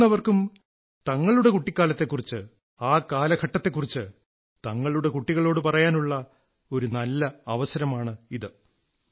മുതിർന്നവർക്കും തങ്ങളുടെ കുട്ടിക്കാലത്തെക്കുറിച്ച് ആ കാലഘടത്തെക്കുറിച്ച് തങ്ങളുടെ കുട്ടികളോട് പറയാനുള്ള ഒരു നല്ല അവസരമാണിത്